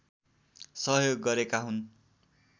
सहयोग गरेका हुन्